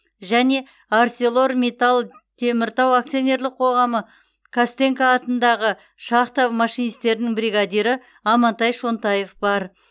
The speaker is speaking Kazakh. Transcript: және арселормиттал теміртау акционерлік қоғамы костенко атындағы шахта машинистерінің бригадирі амантай шонтаев бар